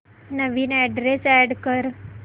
नवीन address add कर